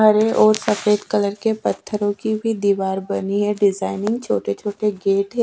हरे और सफ़ेद कलर के पत्थर रखी हुई दिवार बनी है डिजाइनिंग छोटे छोटे गेट है ।